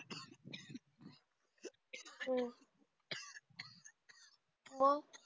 हु मग